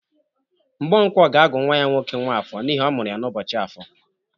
Mgbonkwo ga-agụ nwa ya nwoke nwafọ n'ihi ọ mụrụ ya n'ụbọchị afọ.